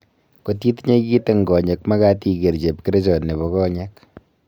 Kot itinye kit eng konyek magat inger chepkerichot nebo konyek